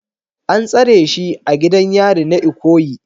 An tsare shi a gidan yari na Ikoyi